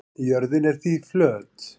Jörðin er því flöt.